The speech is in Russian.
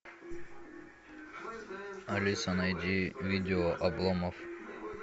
алиса найди видео обломов